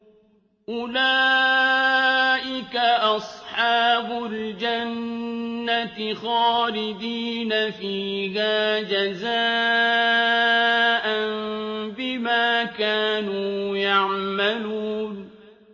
أُولَٰئِكَ أَصْحَابُ الْجَنَّةِ خَالِدِينَ فِيهَا جَزَاءً بِمَا كَانُوا يَعْمَلُونَ